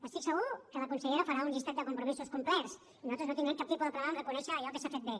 estic segur que la consellera farà un llistat de compromisos complerts i nosaltres no tindrem cap tipus de problema en reconèixer allò que s’ha fet bé